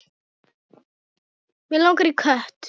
Mig langaði í kött.